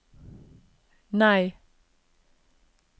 nei